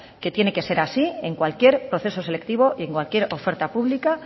que tiene que ser así en cualquier proceso selectivo y en cualquier oferta pública